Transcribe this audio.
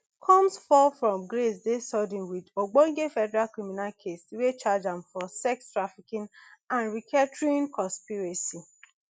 combs fall from grace dey sudden wit ogbonge federal criminal case wey charge am for sex trafficking and racketeering conspiracy